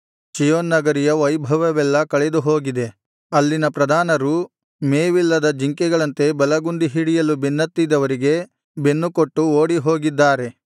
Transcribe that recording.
ಚೀಯೋನ್ ನಗರಿಯ ವೈಭವವೆಲ್ಲಾ ಕಳೆದುಹೋಗಿದೆ ಅಲ್ಲಿನ ಪ್ರಧಾನರು ಮೇವಿಲ್ಲದ ಜಿಂಕೆಗಳಂತೆ ಬಲಗುಂದಿ ಹಿಡಿಯಲು ಬೆನ್ನತ್ತಿದವರಿಗೆ ಬೆನ್ನುಕೊಟ್ಟು ಓಡಿಹೋಗಿದ್ದಾರೆ